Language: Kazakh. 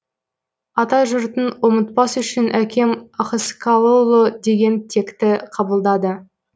атажұртын ұмытпас үшін әкем ахыскалыұлы деген текті қабылдады